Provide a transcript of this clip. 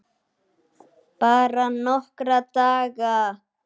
Bara nokkra daga.